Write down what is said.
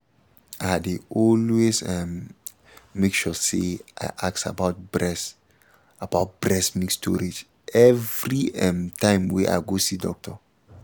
i dey always um make sure say i ask about breast about breast milk storage every ehm time wey i go see doctor